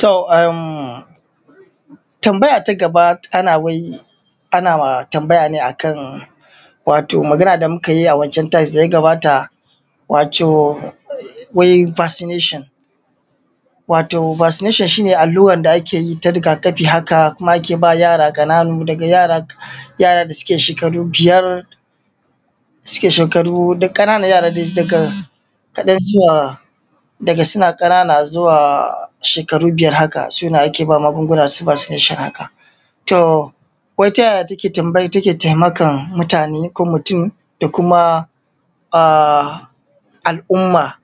tohm emm tambaya ta gaba ana wai ana tambaya ne akan wato magana da mukayi a wancan times daya gabata wato wai vaccination wato vaccination shine allurar da akeyi ta rigakafi haka kuma ake bama yara ƙanana daga yara suke shekaru biyar suke shekaru dai ƙananan yara dai daga suna ƙanana zuwa shekaru biyar haka sune ake bama magunguna vaccination haka to wai ta yaya take taimakan mutane ko mutum ko kuma al’umma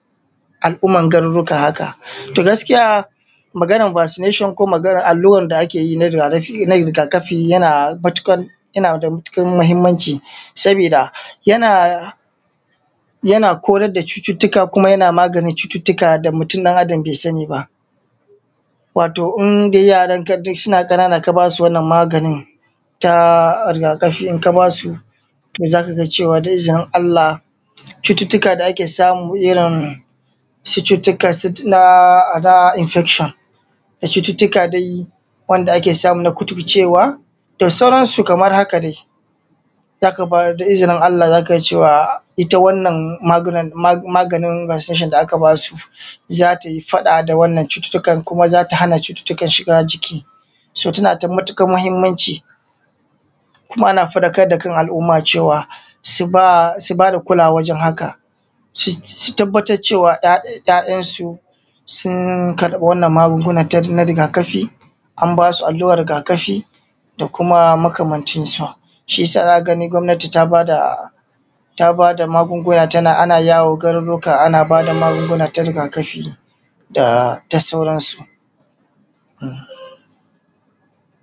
al’umman garuruka haka to gaskiya maganan vaccination ko maganan allurar da ake yin a rigakafi yana da matuƙar muhimmanci sabida yana korar da cututtuka kuma yana maganin cututtuka da mutum ɗan adam bai sani ba wato in dai yaran ka dai suna ƙanana ka basu wannan maganin ta rigakafi in ka basu to zaka ga cewa zai zama walaalla cututtukan da ake samu irin su cututtukan sikila da infection da cututtuka dai wanda ake samu na kuturcewa da sauran su kamar haka dai idan aka bada da izinin allah zaka ga cewa ita wannan magunan maganin vaccination da aka basu zatayi faɗa da wannan cututtuka kuma zata hana cututtukan shiga jiki so tana da matukar muhimmanci kuma ana faɗakar da kan al’umma cewa su bada kulawa wajen haka su tabbatar cewa ‘ya’yansu sun karɓi wannan magungunan na rigakafi an basu allurar rigakafi da kuma makamancin sa shiyasa zaka gani gwamnati ta bada magunguna ana yawo garuruka ana bada magunguna ta rigakafi da ta sauran su